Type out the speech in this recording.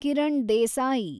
Kiran Desai